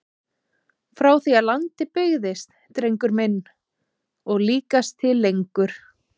Frá því að land byggðist drengur minn og líkast til lengur!